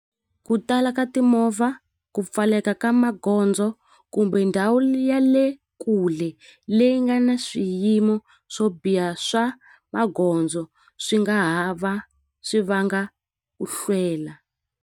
Ku tala ka timovha ku pfaleka ka magondzo kumbe ndhawu ya le kule leyi nga na swiyimo swo biha swa magondzo swi nga ha va swi vanga ku hlwela.